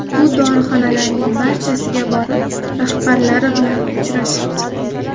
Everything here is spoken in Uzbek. Bu dorixonalarning barchasiga borib, rahbarlari bilan uchrashib chiqdik.